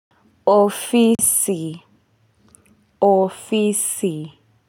Ofisi ofisi.